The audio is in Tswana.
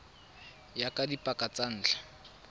ya ka dipaka tsa ntlha